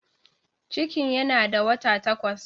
Cikin yana da wata takwas.